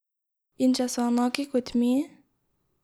In če so enaki kot mi?